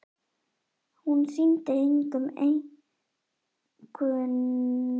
Hún sýndi engum einkunnabækur hinna krakkanna, og Lóa Lóa var dauðfegin.